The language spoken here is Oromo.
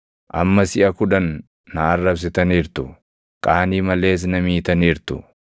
Amma siʼa kudhan na arrabsitaniirtu; qaanii malees na miitaniirtu.